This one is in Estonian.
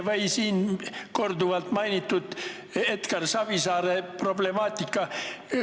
Või siin korduvalt mainitud Edgar Savisaare problemaatika.